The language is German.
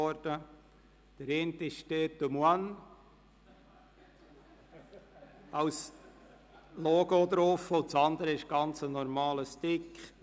Der eine trägt «Tête de moine» als Logo und der andere ist ein ganz normaler Stick.